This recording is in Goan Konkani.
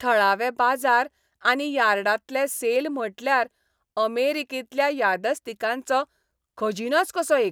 थळावे बाजार आनी यार्डांतले सेल म्हटल्यार अमेरिकेंतल्या यादस्तिकांचो खजिनोच कसो एक.